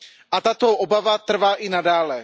A tato obava trvá i nadále.